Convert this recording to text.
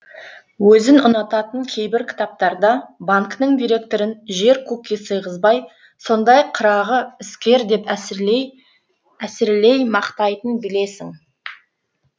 өзің ұнататын кейбір кітаптарда банкінің директорын жер көкке сыйғызбай сондай қырағы іскер деп әсірелей мақтайтынын білесің